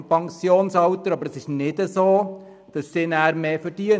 Es stimmt jedoch nicht, dass diese auch mehr verdienen.